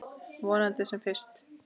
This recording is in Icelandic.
Vonandi sem fyrst.